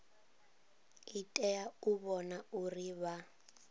tea u vhona uri vha